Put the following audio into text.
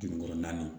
Jurukɔrɔnin